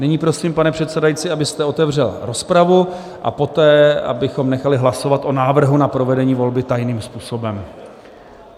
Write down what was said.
Nyní prosím, pane předsedající, abyste otevřel rozpravu a poté abychom nechali hlasovat o návrhu na provedení volby tajným způsobem.